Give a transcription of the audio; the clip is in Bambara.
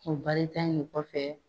O baarita in kɔfɛ